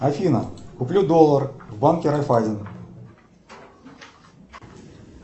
афина куплю доллар в банке райффайзен